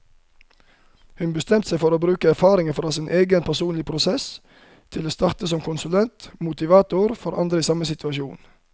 Hun bestemte seg for å bruke erfaringene fra sin egen personlige prosess til å starte som konsulent og motivator for andre i samme situasjon.